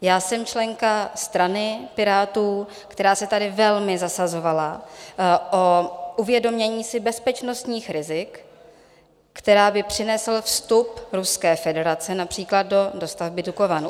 Já jsem členka strany Pirátů, která se tady velmi zasazovala o uvědomění si bezpečnostních rizik, která by přinesl vstup Ruské federace například do dostavby Dukovan.